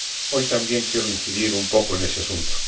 Hoy también quiero incidir un poco en ese asunto.